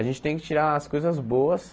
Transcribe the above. A gente tem que tirar as coisas boas,